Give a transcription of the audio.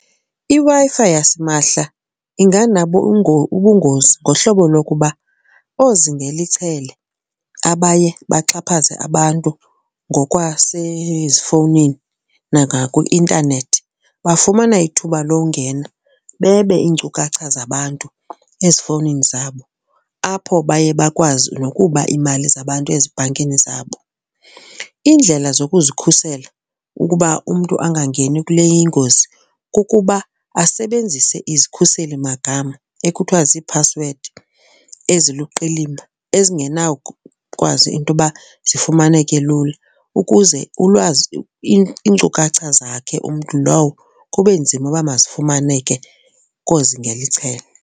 iWi-Fi yasimahla inganabo ubungozi ngohlobo lokuba oozingela ichele abaye baxhaphaze abantu ngokwasezifowunini nangakwi-intanethi bafumana ithuba longena bebe iinkcukacha zabantu ezifowunini zabo, apho baye bakwazi nokuba iimali zabantu ezibhankini zabo. Iindlela zokuzikhusela ukuba umntu angangeni kule ingozi kukuba asebenzise izikhuselimagama ekuthiwa ziiphasiwedi eziluqilima ezingenawukwazi into yoba zifumaneke lula ukuze ulwazi iinkcukacha zakhe umntu lowo kube nzima uba bazifumaneke koozingela ichele.